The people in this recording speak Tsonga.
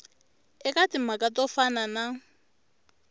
eka timhaka to fana na